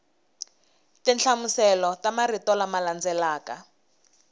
tinhlamuselo ta marito lama landzelaka